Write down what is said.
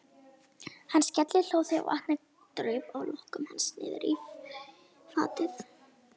Hann skellihló þegar vatnið draup af lokkum hans niðrí fatið.